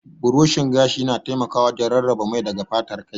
Burushin gashi yana taimakawa wajen rarraba mai daga fatar kai.